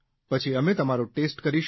પછી અમે તમારો ટેસ્ટ કરીશું